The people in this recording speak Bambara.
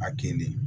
A ke ne